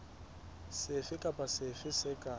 sefe kapa sefe se ka